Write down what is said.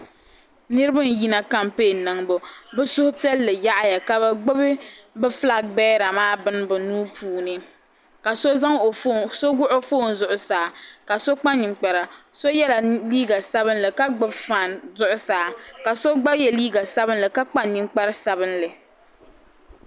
Niriba n yina kampɛɛn niŋbu bi suhupiɛlli yaɣaya ka bi gbubi bi filaak bɛɛra maa bini bi nuu puuni ka so wuɣi o fooni zuɣusaa ka so kpa ninkpara so yɛla liiga sabinli ka gbubi faan zuɣusaa ka si gba yɛ liiga sabinli ka kpa ninkpara sabinli.